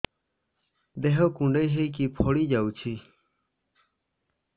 ଦେହ କୁଣ୍ଡେଇ ହେଇକି ଫଳି ଯାଉଛି